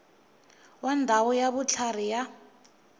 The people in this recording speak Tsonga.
wa ndhawu ya vutlhari ya